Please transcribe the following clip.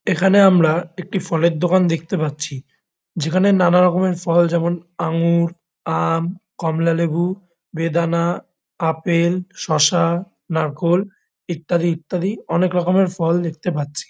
এখানে আমরা একটি ফলের দোকান দেখতে পাচ্ছি যেখানে নানা রকমের ফল যেমন আঙ্গুর আম কমলালেবু বেদানা আপেল শসা নারকোল ইত্যাদি ইত্যাদি অনেক রকমের ফল দেখতে পাচ্ছি।